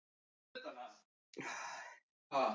Ólöf Björk Bragadóttir: Hvað er svo framundan í kvöld?